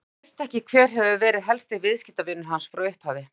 Þú veist ekki, hver hefur verið helsti viðskiptavinur hans frá upphafi?